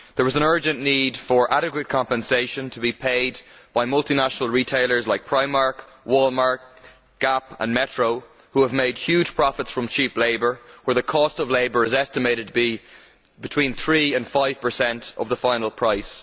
There is an urgent need for adequate compensation to be paid by multinational retailers like Primark, Walmart, Gap and Metro who have made huge profits from cheap labour, where the cost of labour is estimated to be between 3 and 5 of the final price.